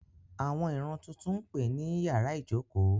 Àwọn ìran tuntun ń pè ní ín yàrá ìjókòó.